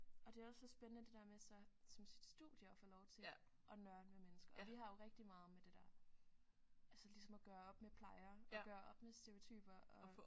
Og det er også så spændende det der med så som sit studie så at få lov til at nørde med mennesker og vi har jo rigtig meget med det der altså ligesom at gøre op med plejer og gøre op med stereotyper og